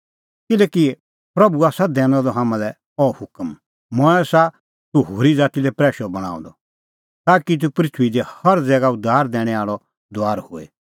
किल्हैकि प्रभू आसा दैनअ द हाम्हां लै अह हुकम मंऐं आसा तूह होरी ज़ाती लै प्रैशअ बणांअ द ताकि तूह पृथूई दी हर ज़ैगा उद्धार दैणैं आल़अ दूआर होए